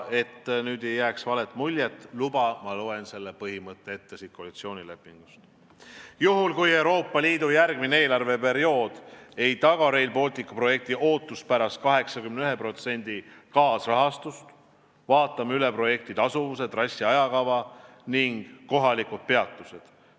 Et nüüd ei jääks valet muljet, luba, ma loen selle põhimõtte koalitsioonilepingust ette: "Juhul kui Euroopa Liidu järgmine eelarveperiood ei taga Rail Balticu projekti ootuspärast 81% kaasrahastust, vaatame üle projekti tasuvuse, trassi, ajakava ning kohalikud peatused.